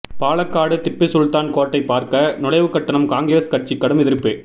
பாலக்காடு திப்புசுல்தான் கோட்டை பார்க்க நுழைவுக்கட்டணம் காங்கிரஸ் கட்சி கடும் எதிர்ப்பு